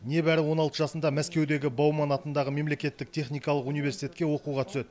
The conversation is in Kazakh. небәрі он алты жасында мәскеудегі бауман атындағы мемлекеттік техникалық университетке оқуға түседі